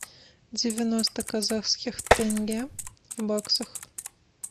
девяносто казахских тенге в баксах